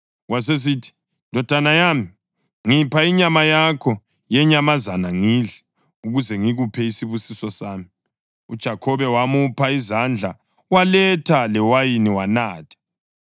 Wasesithi, “Ndodana yami, ngipha inyama yakho yenyamazana ngidle, ukuze ngikuphe isibusiso sami.” UJakhobe wamupha wadla; waletha lewayini wanatha.